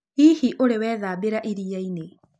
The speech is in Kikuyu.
Hihi ũrĩ wethambĩra ĩrĩaĩnĩ?